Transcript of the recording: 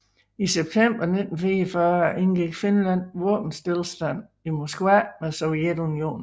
I september 1944 indgik Finland Våbenstilstanden i Moskva med Sovjetunionen